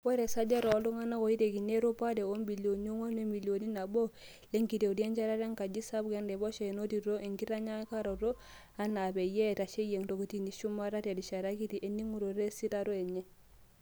Oree Esajati oltunganak oitekini erupare oobilioni onguan wemilion naboo lenkitoria enchetata enkaji sapuk enaiposha enotito enkitinyikaroto enaa peyie eitasheyia kotini eshumata terishata kiti eningoto esiitaroto enye.